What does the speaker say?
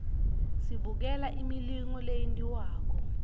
sibukela imilingo leyentiwakalo